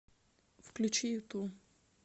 включи юту